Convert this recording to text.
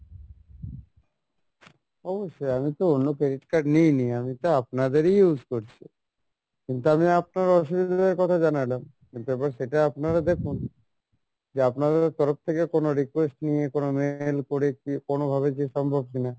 অবশ্যই আমি তো অন্য credit card নিই নি আমি তো আপনাদেরই use করছি কিন্তু আমি আপনারা অসুবিধার কথা জানালাম, সেটা আপনারা দেখুন যে আপনাদের তরফ থেকে কোনো request নিয়ে কোনো mail করে কি কোনো ভাবে যে সম্ভব কিনা